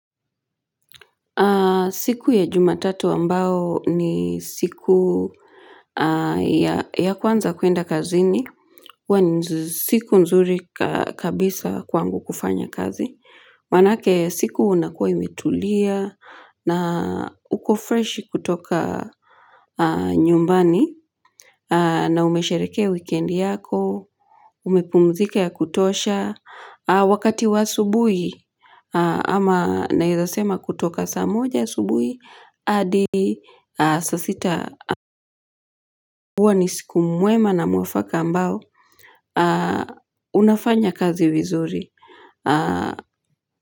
Siku ya jumatatu ambao ni siku ya kwanza kwenda kazini, huwa ni siku nzuri ka kabisa kwangu kufanya kazi. Maanake siku unakua imetulia, na uko fresh kutoka nyumbani, na umesherekea weekendi yako, umepumzika ya kutosha, wakati wa asubuhi, ama naizasema kutoka saa moja subuhi, hadi saa sita ambuwa ni siku mwema na mwafaka ambao unafanya kazi vizuri.